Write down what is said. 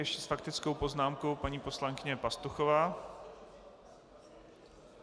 Ještě s faktickou poznámkou paní poslankyně Pastuchová.